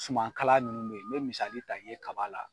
Suman kala ninnu be ye, n be misali ta i ye kaba la